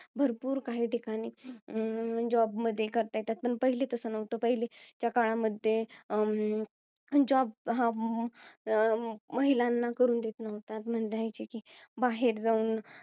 भरपूर काही ठिकाणी अं job मध्ये करता येतं. पण पहिले तसं नव्हत. पहिलेच्या काळामध्ये, अं job हा महिलांना करून देत नव्हता, बाहेर जाऊन